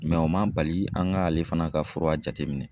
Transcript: o ma bali an ka ale fana ka fura jateminɛ.